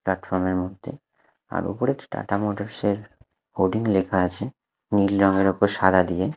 প্লাটফর্মের মধ্যে আর ওপরে একটি টাটা মোটরসের হোর্ডিং লেখা আছে নীল রঙের ওপর সাদা দিয়ে।